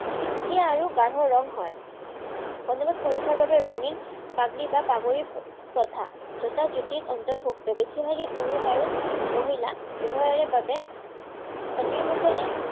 চিকচিকিয়া আৰু গাঢ় ৰং হয়। পঞ্জাৱত পুৰুষৰবাবে ৰঙীন পাগৰী বা পাগুৰি প্ৰথা তথা যুতিত অন্তৰ্ভুক্ত। বেছিভাগেই পুৰুষ আৰু মহিলা উভয়েৰে বাবে পঞ্জাৱীসকলে